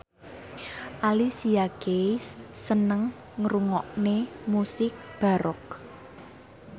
Alicia Keys seneng ngrungokne musik baroque